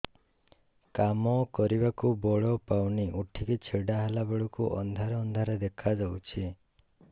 କାମ କରିବାକୁ ବଳ ପାଉନି ଉଠିକି ଛିଡା ହେଲା ବେଳକୁ ଅନ୍ଧାର ଅନ୍ଧାର ଦେଖା ଯାଉଛି